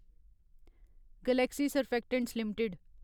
Galaxy surfactants limited